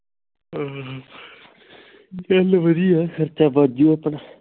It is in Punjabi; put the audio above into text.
ਹਮ ਚੱਲ ਵਧੀਏ ਖਰਚਾ ਬਚ ਜਾਉ ਆਪਣਾ